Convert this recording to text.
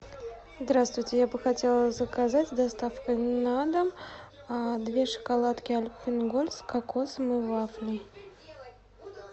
здравствуйте я бы хотела заказать с доставкой на дом две шоколадки альпен гольд с кокосом и вафлей